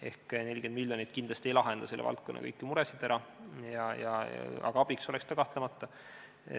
Ehk 40 miljonit eurot ei lahenda kindlasti kõiki selle valdkonna muresid ära, ehkki abiks oleks see kahtlemata.